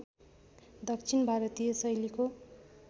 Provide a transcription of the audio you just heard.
दक्षिण भारतीय शैलीको